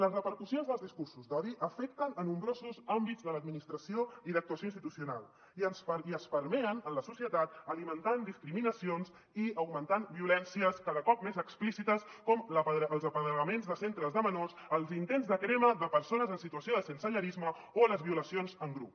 les repercussions dels discursos d’odi afecten nombrosos àmbits de l’administració i d’actuació institucional i s’impregnen en la societat alimentant discriminacions i augmentant violències cada cop més explícites com els apedregaments de centres de menors els intents de crema de persones en situació de sensellarisme o les violacions en grup